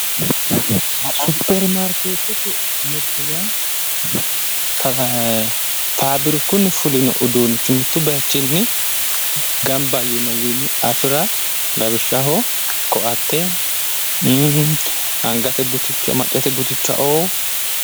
supermaarkeetete mirte yaa faafirikunni fulino uduunnicho mitto bayichinni gamba yinowiinni afira lawishshaho koatte angate buticha maccate butichaoo.